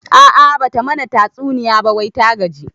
A'a bata mana tatsuniya ba wai ta gaji